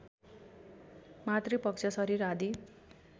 मातृपक्ष शरीर आदि